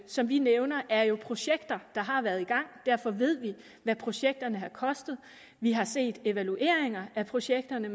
som vi nævner er jo projekter der har været i gang derfor ved vi hvad projekterne har kostet vi har set evalueringer af projekterne